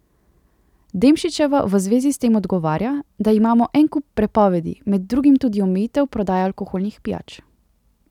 Demšičeva v zvezi s tem odgovarja, da imamo en kup prepovedi, med drugim tudi omejitev prodaje alkoholnih pijač.